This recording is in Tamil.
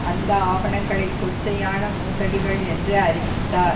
அந்த ஆவணங்களை கொச்சையான மோசடிகள் என்று அறிவித்தார்